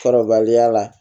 Kɔrɔbaliya la